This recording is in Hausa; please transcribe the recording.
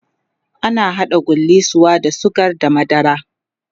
ana haɗa gullisuwa da sugar da madara